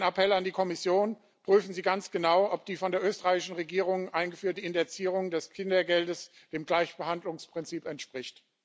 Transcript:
Mein Appell an die Kommission Prüfen Sie ganz genau, ob die von der österreichischen Regierung eingeführte Indexierung des Kindergeldes dem Gleichbehandlungsprinzip entspricht.